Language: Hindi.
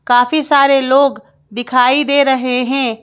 काफी सारे लोग दिखाई दे रहे हैं।